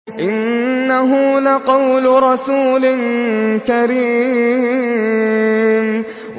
إِنَّهُ لَقَوْلُ رَسُولٍ كَرِيمٍ